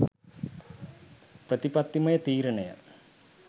ප්‍රතිපත්තිමය තීරණය